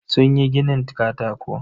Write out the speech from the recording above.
Sunyi ginin katako.